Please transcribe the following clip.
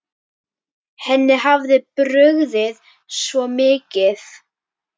Henni hafði brugðið svo mikið.